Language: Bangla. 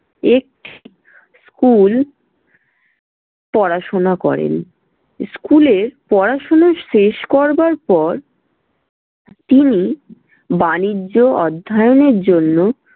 এক school পড়াশোনা করেন। school এ পড়াশোনা শেষ করবার পর, তিনি বাণিজ্য অধ্যায়নের জন্য